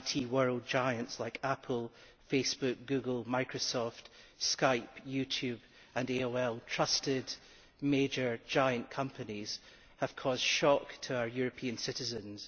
world IT giants like Apple, Facebook, Google, Microsoft, Skype, YouTube and AOL trusted major companies have caused shock to our European citizens.